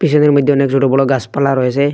এদের মধ্যে অনেক ছোট বড় গাসপালা রয়েসে।